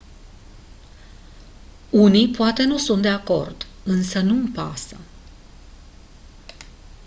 unii poate nu sunt de acord însă nu-mi pasă